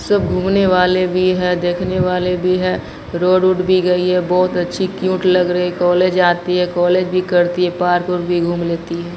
सब घूमने वाले भी हैं देखने वाले भी हैं रोड ओड भी गई है बहोत अच्छी क्यूट लग रहे कॉलेज जाती है कॉलेज भी करती है पार्क ओर्क भी घूम लेती है।